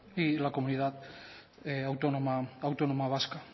y la comunidad autónoma vasca